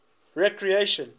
recreation